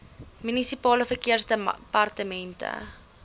munisipale verkeersdepartemente